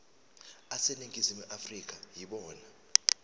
aseningizimu afrika yibona